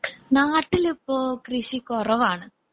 നാട്ടിലിപ്പോ കൃഷി കുറവാണ്.